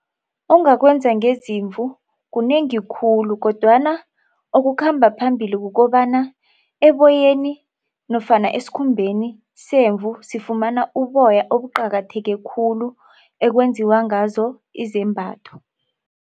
Ongakwenza ngezimvu kunengi khulu kodwana okukhamba phambili kukobana eboyeni nofana esikhumbeni semvu sifumana uboya obuqakatheke khulu ekwenziwa ngazo izembatho.